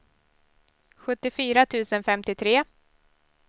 sjuttiofyra tusen femtiotre